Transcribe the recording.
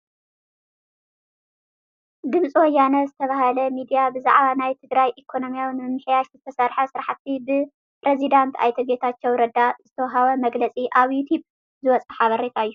ድምፂ ወያነ ዝተባህለ ሚድያ ብዛዕባ ናይ ትግራይ ኢኮኖሚ ንምምሕያሽ ዝተሰርሐ ስራሕቲ ብ ፕሬዝዳንት ኣይተ ጌታቸው ረዳ ዝተወሃበ መግለፂ ኣብ ዩቱብ ዝወፀ ሓበሬታ እዩ፡.